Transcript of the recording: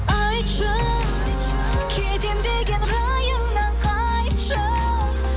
айтшы кетем деген райыңнан қайтшы